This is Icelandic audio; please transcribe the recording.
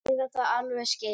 Og eiga það alveg skilið.